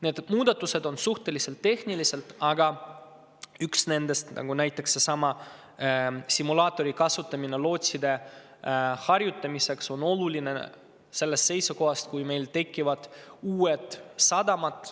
Need muudatused on suhteliselt tehnilised, aga näiteks üks nendest – seesama, et lootsid saavad kasutada harjutamiseks simulaatorit – on oluline sellest seisukohast, kui meil tekivad uued sadamad.